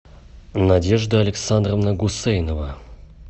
надежда александровна гусейнова